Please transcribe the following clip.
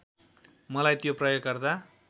मलाई त्यो प्रयोगकर्ता